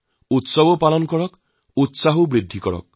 উৎসৱ পালন কৰুন সকলোৰে উৎসাহক উজ্জীৱিত কৰক